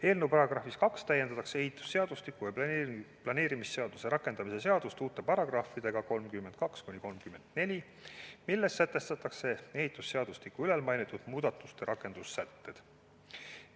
Eelnõu §-s 2 täiendatakse ehitusseadustiku ja planeerimisseaduse rakendamise seadust uute paragrahvidega 32–34, milles sätestatakse ehitusseadustiku ülalmainitud muudatuste rakendussätted.